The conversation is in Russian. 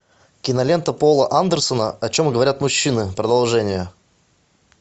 кинолента пола андерсона о чем говорят мужчины продолжение